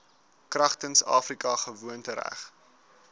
kragtens afrika gewoontereg